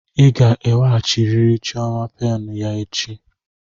Ị ga-eweghachiri chioma penụ ya echi.